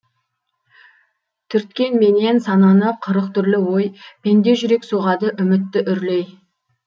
түрткенменен сананы қырық түрлі ой пенде жүрек соғады үмітті үрлей